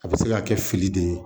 A bɛ se ka kɛ fili de ye